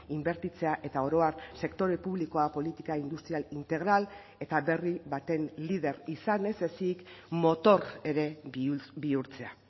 inbertitzea eta oro har sektore publikoa politika industrial integral eta berri baten lider izan ez ezik motor ere bihurtzea